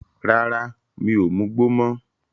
Rárá, mi ò mugbó mọ́.